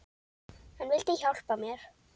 Hann vildi hjálpa mér.